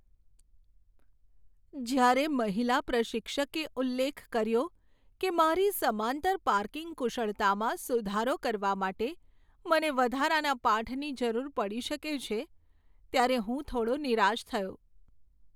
જ્યારે મહિલા પ્રશિક્ષકે ઉલ્લેખ કર્યો કે મારી સમાંતર પાર્કિંગ કુશળતામાં સુધારો કરવા માટે મને વધારાના પાઠની જરૂર પડી શકે છે, ત્યારે હું થોડો નિરાશ થયો.